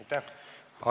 Aitäh!